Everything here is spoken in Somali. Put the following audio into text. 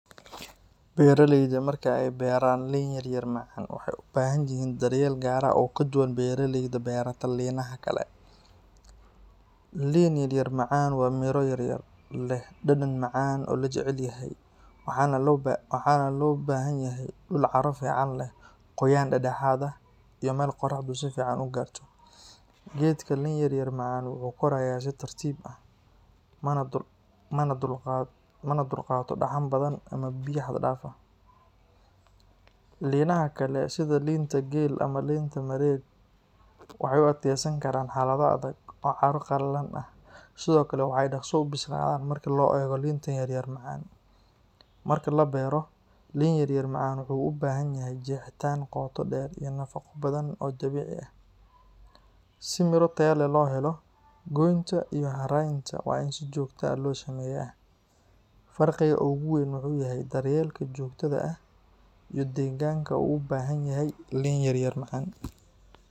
Beeraleyda marka ay beeraan liin yaryar macaan, waxay u baahan yihiin daryeel gaar ah oo ka duwan beeraleyda beerata liinaha kale. Liin yaryar macaan waa miro yaryar, leh dhadhan macaan oo la jecel yahay, waxaana loo baahan yahay dhul carro fiican leh, qoyaan dhexdhexaad ah, iyo meel qoraxdu si fiican u gaarto. Geedka liin yaryar macaan wuxuu korayaa si tartiib ah, mana dulqaato dhaxan badan ama biyo xad dhaaf ah. Liinaha kale sida liinta geel ama liinta madheedh, waxay u adkaysan karaan xaalado adag oo carro qallalan ah, sidoo kale waxay dhakhso u bislaadaan marka loo eego liinta yaryar macaan. Marka la beero, liin yaryar macaan wuxuu u baahan yahay jeexitaan qoto dheer iyo nafaqo badan oo dabiici ah. Si miro tayo leh loo helo, goynta iyo haraynta waa in si joogto ah loo sameeyaa. Farqiga ugu weyn wuxuu yahay daryeelka joogtada ah iyo deegaanka uu u baahan yahay liin yaryar macaan.